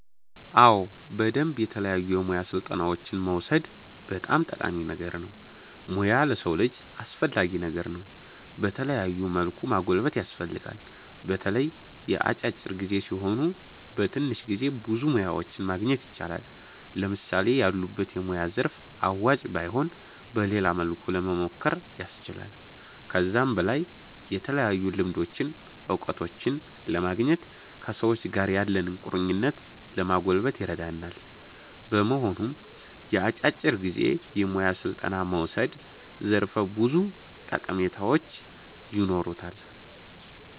አዎ በደምብ የተለያዩ የሙያ ስልጠናዎችን መዉሰድ በጣም ጠቃሚ ነገር ነዉ ሙያ ለሰዉ ልጅ አስፈላጊ ነገር ነዉ በተለያዩ መልኩ ማጎልበት ያስፈልጋል። በተለይ የአጫጭር ጊዜ ሲሆኑ በትንሽ ጊዜ ብዙ ሙያዎችን ማግኘት ይቻላል። ለምሳሌ ያሉበት የሙያ ዘርፍ አዋጭ ባይሆን በሌላ መልኩ ለሞሞከር ያስችላል። ከዛም በላይ የተለያዩ ልምዶችን እዉቀቶችን ለማግኘት ከሰዎች ጋር ያለንን ቁርኝት ለማጎልበት ይረዳል። በመሆኑም የአጫጭር ጊዜ የሙያ ስልጠና መዉሰድ ዘርፈ ብዙ ጠቀሜታዎች ይኖሩታል